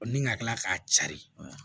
Ni ka kila k'a cari